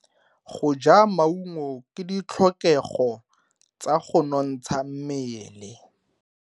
Go ja maungo ke ditlhokego tsa go nontsha mmele.